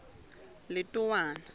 letowana